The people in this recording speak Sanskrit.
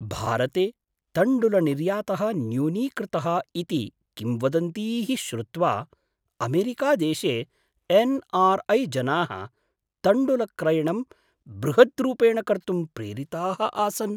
भारते तण्डुलनिर्यातः न्यूनीकृतः इति किंवदन्तीः श्रुत्वा अमेरिकादेशे एन् आर् ऐ जनाः तण्डुलक्रयणं बृहद्रूपेण कर्तुं प्रेरिताः आसन्।